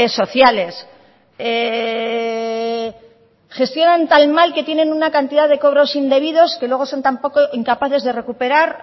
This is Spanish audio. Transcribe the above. sociales gestionan tan mal que tienen una cantidad de cobros indebidos que luego son tampoco incapaces de recuperar